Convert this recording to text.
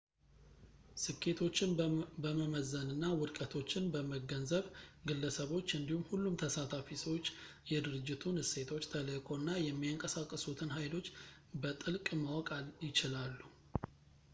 ስኬቶችን በመመዘንና ውድቀቶችን በመገንዘብ ግለሰቦች እንዲሁም ሁሉም ተሳታፊ ሰዎች የድርጅቱን እሴቶች ተልዕኮ እና የሚያንቀሳቅሱትን ሀይሎች በጥልቅ ማወቅ ይችላሉ